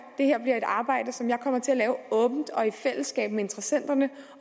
det her bliver et arbejde som jeg kommer til at lave åbent og i fællesskab med interessenterne